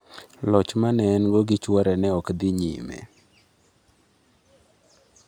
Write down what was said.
Loch ma ne en-go gi chwore ne ok odhi nyime.